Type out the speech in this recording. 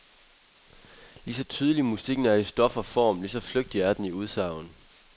Lige så tydelig musikken er i stof og form, lige så flygtig er den i udsagn.